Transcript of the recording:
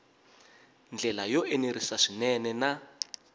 ndlela yo enerisa swinene na